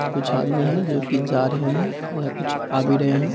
कुछ आदमी है जोकि जा रहे हैं वह कुछ आ भी रहे हैं |